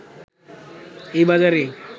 এই বাজারে